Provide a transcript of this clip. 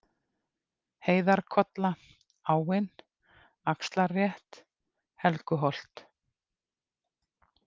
Heiðarkolla, Áin, Axlarrétt, Helguholt